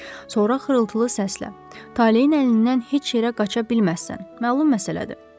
Sonra xırıltılı səslə: Taleyin əlindən heç yerə qaça bilməzsən, məlum məsələdir, dedi.